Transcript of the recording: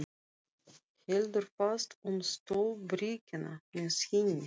Heldur fast um stólbríkina með hinni.